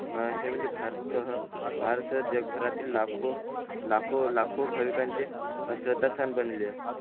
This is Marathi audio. हा हे म्हणजे भारतसह भारतसह जग भऱ्यातील लाखों लाखों भाविकांचे श्रद्धा स्थान बनले